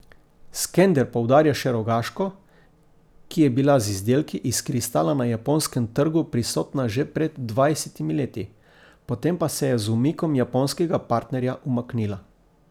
Skender poudarja še Rogaško, ki je bila z izdelki iz kristala na japonskem trgu prisotna že pred dvajsetimi leti, potem pa se je z umikom japonskega partnerja umaknila.